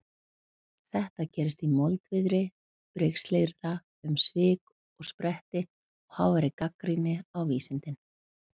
Þetta gerist í moldviðri brigslyrða um svik og pretti og háværri gagnrýni á vísindin.